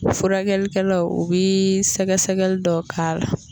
Furakɛlikɛlaw u bi sɛgɛsɛgɛli dɔ k'a la.